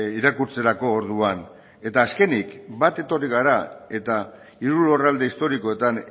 irakurtzerako orduan eta azkenik bat etorri gara eta hiru lurralde historikoetan